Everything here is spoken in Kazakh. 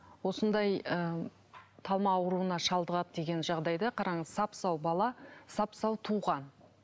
осындай ыыы талма ауруына шалдығады деген жағдайда қараңыз сап сау бала сап сау туған